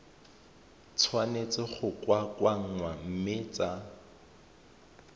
tshwanetse go kokoanngwa mme tsa